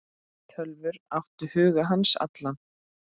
Tölvur áttu hug hans allan.